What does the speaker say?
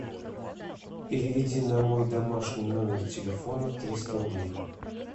переведи на мой домашний номер телефона триста рублей